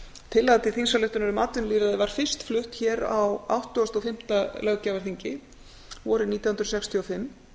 tillaga til þingsályktunar um atvinnulýðræði var fyrst flutt hér á áttugasta og fimmta löggjafarþingi vorið nítján hundruð sextíu og fimm